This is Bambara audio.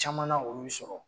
Caman olu bi sɔrɔ